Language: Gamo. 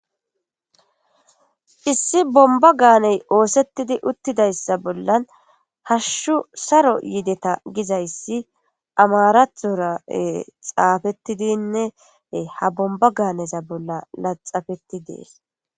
issi bomba gaaney oosettidi uttidayssa bollan hashshu saro yideta gizayssi amarathora xaafettidinne ha bomba gaaneza bolla laxafetti dees